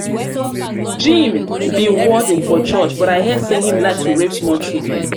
jim be warden for church but i hear say he like to rape small children.